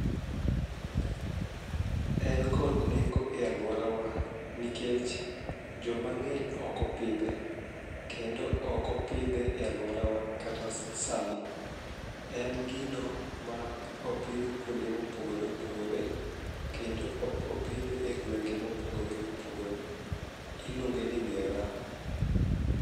En kod nengo e alworawa nikech jomang'eny okopidhe kendo okopidhe e alworawa kata sani, en gino ma opidh kuonde mopogore opogore kendo opidhe e gwenge mopogore opogore, iluonge ni mira.